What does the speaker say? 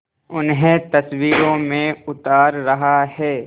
उन्हें तस्वीरों में उतार रहा है